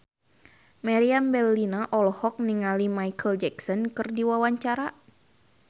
Meriam Bellina olohok ningali Micheal Jackson keur diwawancara